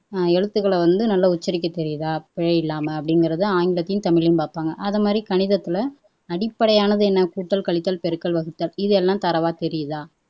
எழுத்துகள வந்து நல்லா உச்சரிக்கத் தெரியுதா பிழையில்லாம அப்படிங்கிறது ஆங்கிலத்தையும் தமிழையும் பாப்பாங்க அதை மாதிரி கணிதத்துல அடிப்படையானது என்ன கூட்டல், கழித்தல், பெருக்கல், வகுத்தல் இது எல்லாம் தரோவா தெரியுதா